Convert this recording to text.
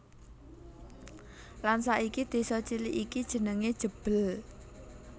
Lan saiki desa cilik iki jenengé Jebel